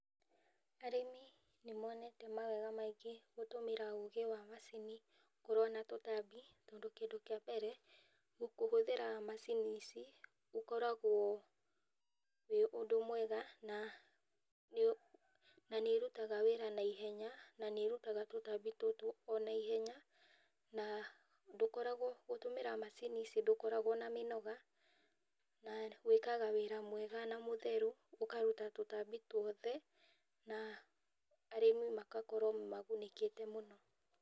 Arĩmi nĩ monete mawega maingĩ gũtũmĩra ũgĩ wa macini kũrũa na tũtambi, tondũ kĩndũ kĩa mbere, kũhũthĩra macini ici gũkoragwo wĩ ũndũ mwega na nĩ ũrutaga wĩra na ihenya na nĩ ũrutaga tũtambi tũtũ ona ihenya na ndũkoragwo gũtũmira macini ici ndũkoragwo na mĩnoga na wĩkaga wĩra mwega na mũtheru ũkaruta tũtambi twothe na arĩmi magakorwo magunĩkĩte mũno.